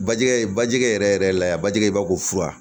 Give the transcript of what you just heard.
Bajigikɛ bajigɛ yɛrɛ yɛrɛ la bajigɛ i b'a fɔ ko fura